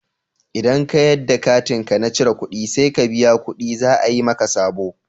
Idan ka yadda katinka na cirar ƙuɗi sai ka biya ƙuɗi za a yi maka sabo.